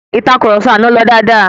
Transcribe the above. Ìtàkurọ̀sọ àná lọ dáadáa.